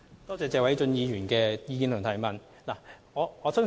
多謝謝偉俊議員的意見及質詢。